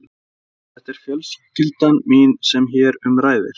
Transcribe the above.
Þetta er fjölskyldan mín sem hér um ræðir.